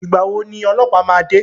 Ìgbà wo ni ọlọ́pàá ma de?